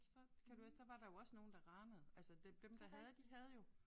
Så kan du også der var der jo også nogle der ranede altså det dem der havde de havde jo